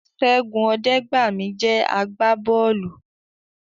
Ṣẹ́gun Ọdẹgbami jẹ́ àgbà bọ́ọ̀lù